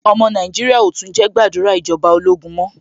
Ọmọ Nàìjíríà ò tún jẹ́ gbàdúrà ìjọba ológun mọ́.